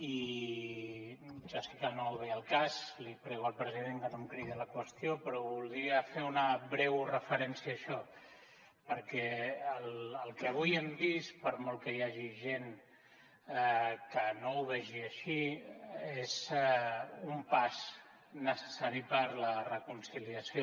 i ja sé que no ve al cas li prego al president que no em cridi a la qüestió però voldria fer una breu referència a això perquè el que avui hem vist per molt que hi hagi gent que no ho vegi així és un pas necessari per a la reconciliació